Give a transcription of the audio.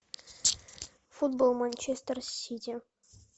футбол манчестер сити